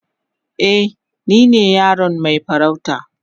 Eh, ni ne yaron mai farauta.